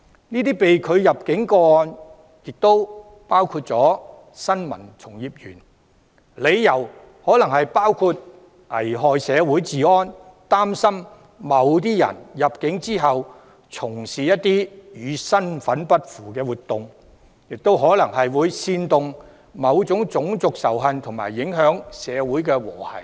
這些被拒入境個案亦涉及新聞從業員，理由可能包括危害社會治安，擔心某些人入境後會從事與身份不符的活動或可能會煽動種族仇恨和影響社會和諧等。